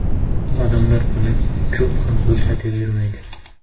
Odamlar buni ko‘p ham ko‘rsatavermaydi.